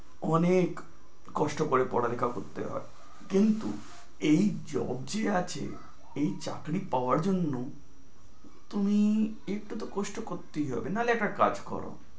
অনেক কষ্ট করে পড়ালেখা করতে হয়, কিন্তু job যে আছে, এই চাকরি পাওয়ার জন্য তুমি একটু কষ্ট তো করতেই হবে। না হলে একটা কাজ করো।